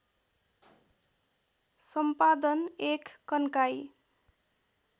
सम्पादन १ कन्काई